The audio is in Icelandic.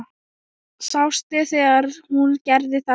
Sástu þegar hún gerði þetta?